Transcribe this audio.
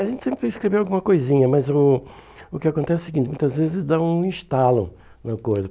A gente sempre escreveu alguma coisinha, mas o o que acontece é o seguinte, muitas vezes dá um estalo na coisa.